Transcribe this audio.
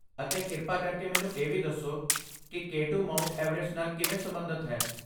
ਅਤੇ ਕਿਰਪਾ ਕਰਕੇ ਮੈਨੂੰ ਇਹ ਵੀ ਦੱਸੋ ਕਿ ਕੇ ਟੂ ਮਾਊਂਟ ਐਵਰੈਸਟ ਨਾਲ ਕਿਵੇਂ ਸਬੰਧਤ ਹੈ